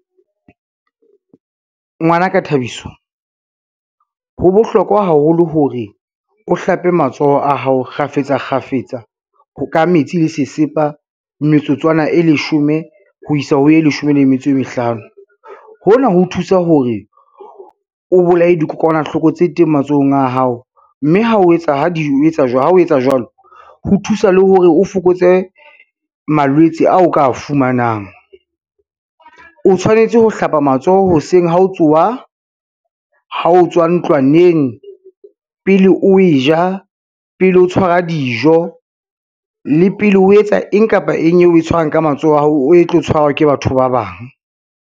Ngwana ka Thabiso, ho bohlokwa haholo hore o hlape matsoho a hao kgafetsa kgafetsa ka metsi le sesepa metsotswana e leshome ho isa ho ye leshome le metso e mehlano. Hona ho thusa hore o bolaye dikokwanahloko tse teng matsohong a hao, mme ha o etsa jwalo, ho thusa le hore o fokotse malwetse ao ka fumanang. O tshwanetse ho hlapa matsoho hoseng ha o tsoha, ha o tswa ntlwaneng, pele o e ja, pele o tshwara dijo le pele o etsa eng kapa eng eo e tshwarang ka matsoho a hao, e tlo tshwarwa ke batho ba bang.